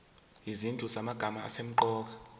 izinhlu zamagama asemqoka